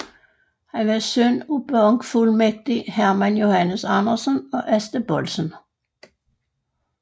Han var søn af bankfuldmægtig Herman Johannes Andersen og Asta Boldsen